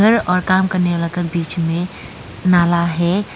और काम करने वाला क बीच में नाला है।